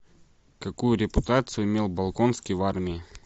какую репутацию имел болконский в армии